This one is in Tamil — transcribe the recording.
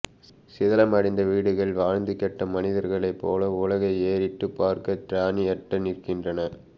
சிதிலமடைந்த வீடுகள் வாழ்ந்து கெட்ட மனிதர்களைப் போல உலகை ஏறிட்டுப் பார்க்கத் திராணியற்று நிற்கின்றன